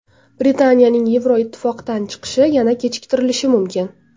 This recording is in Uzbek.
Britaniyaning Yevroittifoqdan chiqishi yana kechiktirilishi mumkin.